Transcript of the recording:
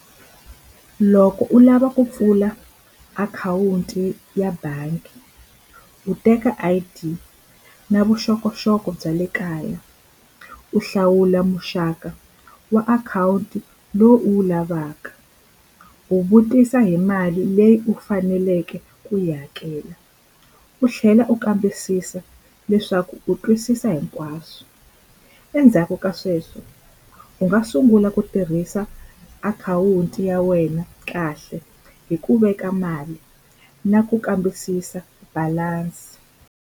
Loko u lava ku pfula akhawunti ya bangi u teka I_D na vuxokoxoko bya le kaya u hlawula muxaka wa akhawunti lowu u wu lavaka u vutisa hi mali leyi u faneleke ku yi hakela u tlhela u kambisisa leswaku u twisisa hinkwaswo endzhaku ka swona sweswo u nga sungula ku tirhisa akhawunti ya wena kahle hi ku veka mali na ku kambisisa balance.